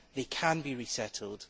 They can be resettled.